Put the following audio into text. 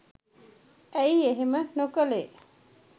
ඇයි එහෙම නොකළේ